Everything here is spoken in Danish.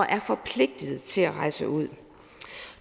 er forpligtet til at rejse ud